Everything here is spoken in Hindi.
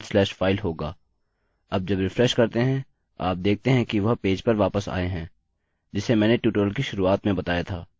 अब जब रिफ्रेश करते हैं आप देखते हैं कि वह पेज पर वापस आए हैं जिसे मैंने ट्यूटोरियल की शुरुआत में बताया था